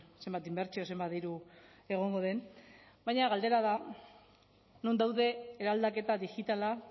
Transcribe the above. zenbat inbertsio zenbat diru egongo den baina galdera da non daude eraldaketa digitala